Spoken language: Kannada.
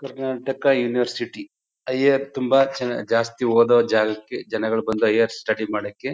ಕರ್ನಾಟಕ ಯುನಿವರ್ಸಿಟಿ ಹೈಯರ್ ತುಂಬಾ ಜನ ಜಾಸ್ತಿ ಓದೋ ಜಾಗಕ್ಕೆ ಜನಗಳು ಬಂದು ಹೈಯರ್ ಸ್ಟಡಿ ಮಾಡೋಕೆ .